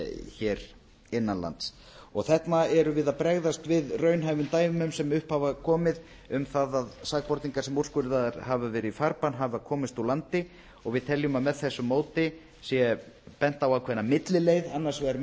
hér innan lands þarna erum við að bregðast við raunhæfum dæmum sem upp hafa komið um það að sakborningar sem úrskurðaðir hafa verið í farbann hafa komist úr landi og við teljum að með þessu móti sé bent á ákveðna millileið annars vegar